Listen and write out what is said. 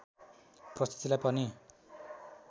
प्रस्तुतिलाई पनि